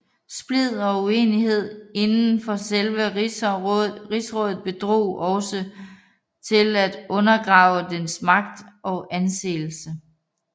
Splid og uenighed inden for selve rigsrådet bidrog også til at undergrave dets magt og anseelse